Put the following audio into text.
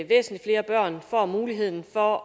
væsentlig flere børn får muligheden for